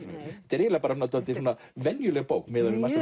eiginlega dálítið venjuleg bók miðað við margt